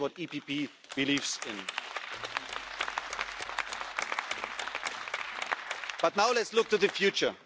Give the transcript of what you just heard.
That is what the PPE believes in. But now let's look to the future.